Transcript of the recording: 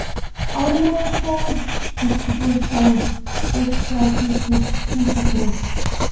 Ármóðaskógur, Gyltubólsá, Baugsstaðasíki, Húsagróf